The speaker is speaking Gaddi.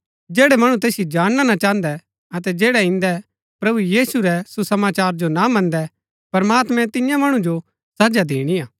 जैड़ै मणु तैसिओ जानणा ना चाहन्दै अतै जैड़ै इन्दै प्रभु यीशु रै सुसमाचारा जो ना मन्दै प्रमात्मैं तिन्या मणु जो सजा दिणिआ